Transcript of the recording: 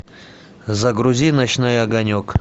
загрузи ночной огонек